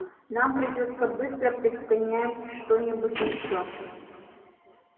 нам придётся быстро предпринять что-нибудь ещё